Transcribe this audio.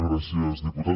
gràcies diputat